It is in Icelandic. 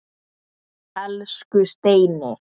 Elsku Steini.